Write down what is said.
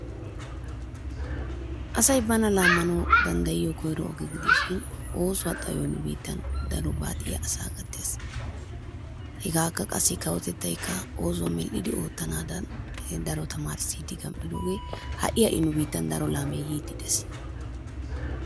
Asay bana laammanawu danddayiyo koyro oge gidishin oosuwa xayoy nu biittan daro baaxiya asaa gattees. Hegaakka qassi kawotettaykka oosuwa medhdhidi oottanaadan daro tamaarissiiddi gam"idoogee ha"i ha"i nu biittan daro laamee yiiddi de'ees.